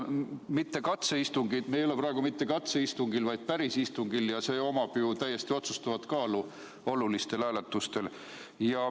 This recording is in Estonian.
Ja mitte katseistungil –me ei ole praegu mitte katseistungil, vaid päris istungil ja sellel on täiesti otsustav kaal olulistel hääletustel.